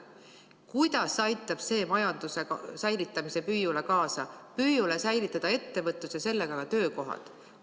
Kuidas aitab see kaasa püüule säilitada ettevõtlus ja sellega ka töökohad?